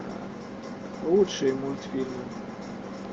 лучшие мультфильмы